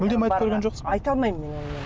мүлдем айтып көрген жоқсыз айта алмаймын мен онымен